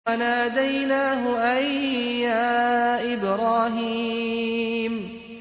وَنَادَيْنَاهُ أَن يَا إِبْرَاهِيمُ